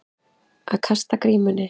Að kasta grímunni